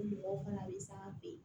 Ni mɔgɔw fana bɛ san an fɛ yen